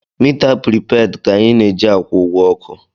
Mita pripeed ka anyị na-eji akwụ ụgwọ ọkụ.